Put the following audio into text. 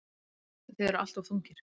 Þið eruð alltof þungir.